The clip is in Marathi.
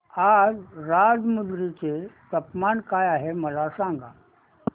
आज राजमुंद्री चे तापमान काय आहे मला सांगा